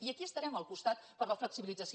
i aquí estarem al costat per a la flexibilització